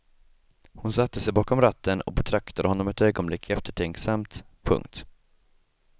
Hon satte sig bakom ratten och betraktade honom ett ögonblick eftertänksamt. punkt